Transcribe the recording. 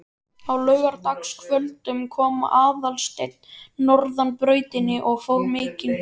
Á laugardagskvöldum kom Aðalsteinn norðan brautina og fór mikinn.